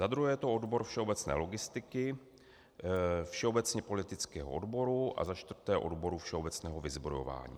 Za druhé je to odbor všeobecné logistiky, všeobecně politického odboru a za čtvrté odboru všeobecného vyzbrojování.